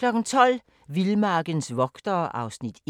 12:00: Vildmarkens vogtere (Afs. 1)